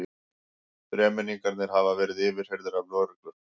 Þremenningarnir hafa verið yfirheyrðir af lögreglu